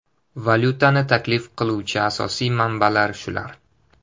Valyutani taklif qiluvchi asosiy manbalar shular.